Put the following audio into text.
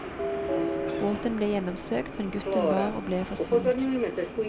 Båten ble gjennomsøkt, men gutten var og ble forsvunnet.